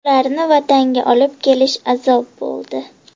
Ularni Vatanga olib kelish azob bo‘ldi.